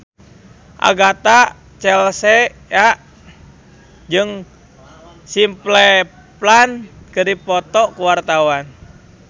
Agatha Chelsea jeung Simple Plan keur dipoto ku wartawan